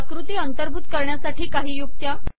अाकृती अंतर्भूत करण्यासाठी काही युक्त्या